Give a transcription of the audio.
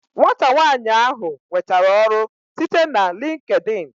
Nwata nwanyi ahu nwetere ọrụ site na LinkedIn